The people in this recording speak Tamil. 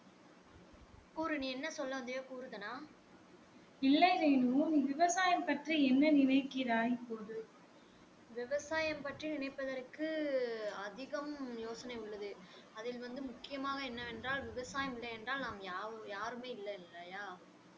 அதில் வந்து முக்கியமாக என்ன வென்றால் விவசாயம் இல்லை என்றால் நாம் யாவுமே யாருமே இல்லை இல்லையா